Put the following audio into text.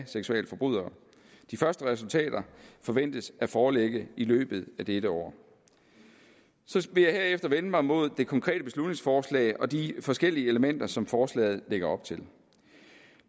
seksualforbrydere de første resultater forventes at foreligge i løbet af dette år så vil jeg herefter vende mig mod det konkrete beslutningsforslag og de forskellige elementer som forslaget lægger op til